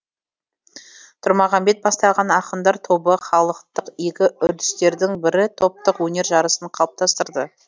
тұрмағамбет бастаған ақындар тобы халықтық игі үрдістердің бірі топтық өнер жарысын қалыптастырды